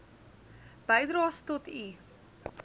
bydraes tot u